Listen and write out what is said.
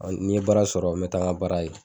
Ɔ ni n baara sɔrɔ n be taa n ka baara kɛ